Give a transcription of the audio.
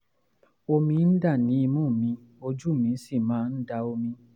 omi ń dà ní imú mi ojú mi sì máa ń da omi